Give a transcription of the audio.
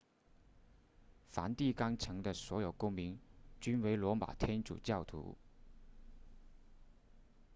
梵蒂冈城的所有公民均为罗马天主教徒